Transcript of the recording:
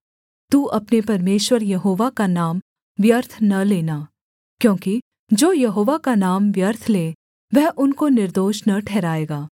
तू अपने परमेश्वर यहोवा का नाम व्यर्थ न लेना क्योंकि जो यहोवा का नाम व्यर्थ ले वह उनको निर्दोष न ठहराएगा